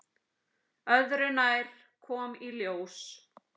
Öðru nær, kom í ljós.